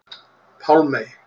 Pálmey